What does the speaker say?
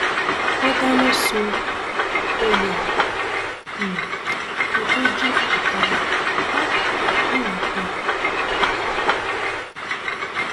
wọn dáná sun olè um kan tó jí ọkadà um ńiléèpẹ